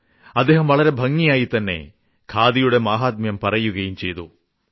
അദ്ദേഹം വളരെ ഭംഗിയായിതന്നെ ഖാദിയുടെ മാഹാത്മ്യം പറയുകയും ചെയ്തു